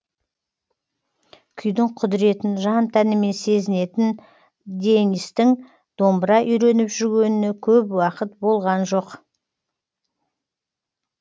күйдің құдіретін жан тәнімен сезінетін дэнистің домбыра үйреніп жүргеніне көп уақыт болған жоқ